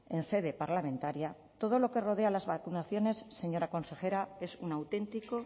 en sede parlamentaria todo lo que rodea a las vacunaciones señora consejera es un auténtico